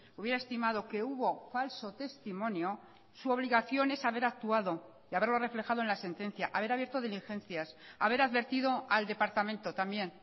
hubiera estimado que hubo falso testimonio su obligación es haber actuado y haberlo reflejado en la sentencia haber abierto diligencias haber advertido al departamento también